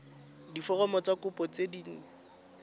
diforomo tsa kopo tse dint